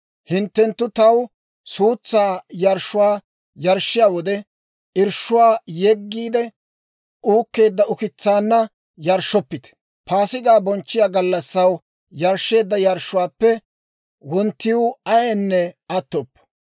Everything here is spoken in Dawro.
«Hinttenttu taw suutsaa yarshshuwaa yarshshiyaa wode, irshshuwaa yeggiide uukkeedda ukitsaanna yarshshoppite. Paasigaa bonchchiyaa gallassaw yarshsheedda yarshshuwaappe wonttiw ayaynne attoppo.